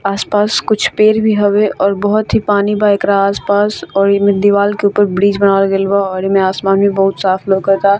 आस-पास कुछ पेड़ भी हवे और बहुत ही पानी बा एकरा आस-पास और इ में दीवाल के ऊपर ब्रीज़ बनावल गेल बा और इ में आसमान भी बहुत साफ लोकाता।